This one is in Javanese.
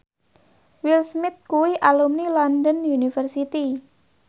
Will Smith kuwi alumni London University